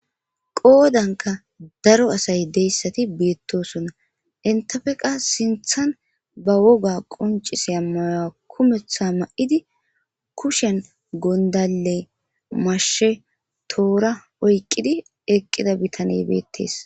Qoodanka daro asay deyssati beetosona; entape qas sinththani ba woga qoncisiya mayo kumeththa ma'idi kushen gondale'mashshe, toora oyqidi eqqida bitaney beetees.